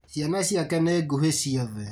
Ciana ciake nĩ nguhĩ ciothe